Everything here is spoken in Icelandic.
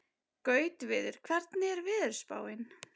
Gautviður, hvernig er veðurspáin?